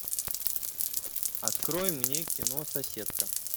открой мне кино соседка